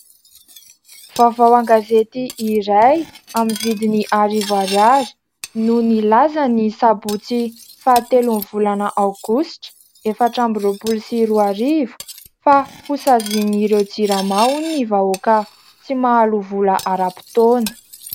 Vaovao an-gazety iray amin'ny vidiny arivo ariary no nilaza ny sabotsy fahatelon'ny volana aogositra efatra amby roapolo sy roa arivo fa "hosaziany ireo jirama hony vahoaka tsy mahaloa vola ara-potoana".